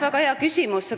Väga hea küsimus.